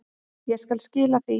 Ég skal skila því.